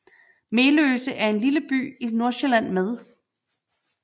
Meløse er en lille by i Nordsjælland med